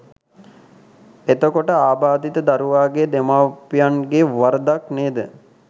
එතකොට ආබාධිත දරුවාගේ දෙමව්පියන්ගෙ වරදක් නේද